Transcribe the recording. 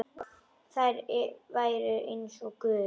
Þær væru eins og guð.